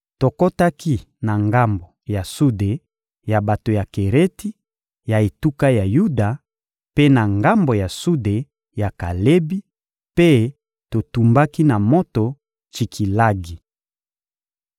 Tokotaki na ngambo ya Sude ya bato ya Kereti, ya etuka ya Yuda, mpe na ngambo ya Sude ya Kalebi; mpe totumbaki na moto Tsikilagi.